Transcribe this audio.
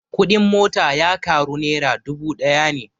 Kuɗin mota ya ƙaru nera dubu ɗaya ne